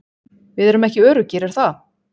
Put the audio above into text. Við erum ekki öruggir er það?